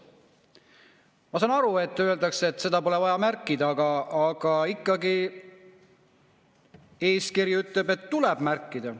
Ma saan aru, kui öeldakse, et seda pole vaja märkida, aga ikkagi eeskiri ütleb, et tuleb märkida.